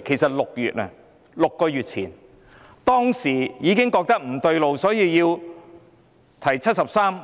其實在6月——即6個月前——當時大家已感到不對勁，因此要求根據《基本法》第七十三